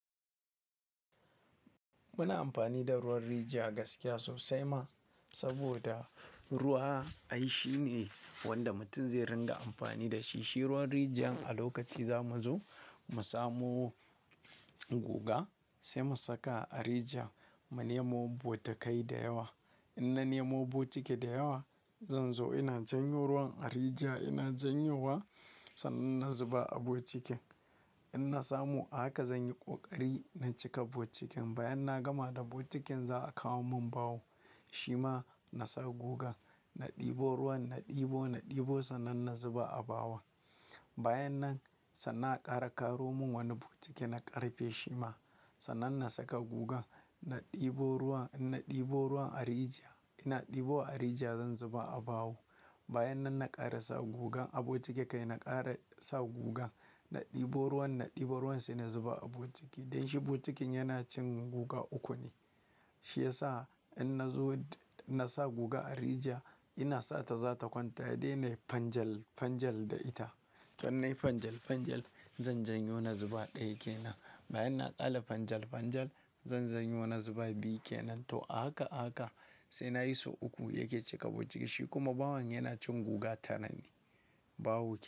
Muna amfani da ruwan rijiya gaskiya sosai ma, saboda ruwa ai shi ne wanda mutum zai ringa amfani da shi. Shi ruwan rijiyan a lokaci za mu zo mu samo guga sai mu saka a rijiyan mu nemo botikai da yawa. In na nemo botikai da yawa, zan zo ina janyo ruwan a rijiya. Ina janyo wa sannan na zuba a botikin. In na samo, a haka zan yi ƙoƙari na cika botikin. Bayan na gama da botikin za a kawo mun bawo shima na sa guga, na ɗebo ruwan, na ɗebo, na ɗebo sannan na zuba a bowan. Bayan nan, sannan a ƙara ƙaro mun wani botiki na ƙarfe shima sannan na saka gugan. Na ɗebo ruwan, in na ɗibo ruwan a rijiya, ina ɗibowa a rijiya zan zuba a bawo. Bayan nan na ƙara sa gugan a botiki kai na ƙara sa gugan. Na ɗibo ruwan, na ɗibo ruwan sai na zuba a botiki. Don shi botikin yana cin guga uku ne. Shi yasa in na zo na sa guga a rijiya, ina sa ta za ta kwanta sai dai nayi fanjal-fanjal da ita. In nai fanjal-fanjal zan janyo na zuba ɗaya kenan. Bayan na ƙare fanjal-fanjal zan janyo na zuba biyu kenan. To ahaka, ahaka sai na yi so uku yake cika botiki. Shi kuma bawon yana cin guga tara ne bawo.